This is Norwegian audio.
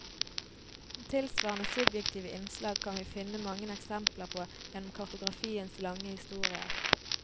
Tilsvarende subjektive innslag kan vi finne mange eksempler på gjennom kartografiens lange historie.